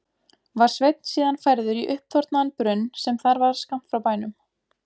Var Sveinn síðan færður í uppþornaðan brunn sem þar var skammt frá bænum.